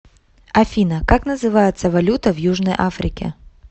афина как называется валюта в южной африке